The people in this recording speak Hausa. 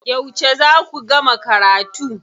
Yauce za ku gama karatu?